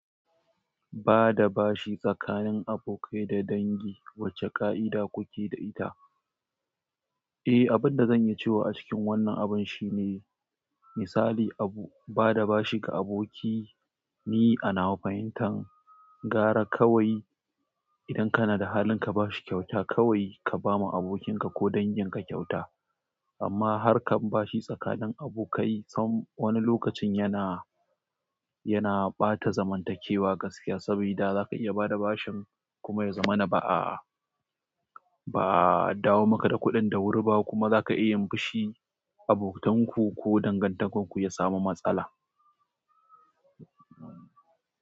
Bada bashi tsakanin abokai da dangi wace kaida kuke da ita. Eh, abin da zan yi cewa a cikin wannan abun shine misali, abu, ba da bashi ga aboki, ni a nawa fahimtan gara kawai idan kana da halin ka ba shi kyauta, kawai ka ba ma abokinka ko dangin ka kyauta. Amma har kan ba shi tsakanin abokai, son wani lokacin yana, yana ɓata zamantakewa gaskiya. Sabida za ka iya bada bashin kuma ya zama na ba'a, ba'a dawo maka da kuɗin da wuri ba kuma za ka iya yi fishi, abokanka ko dangantakarku ya samu matsala.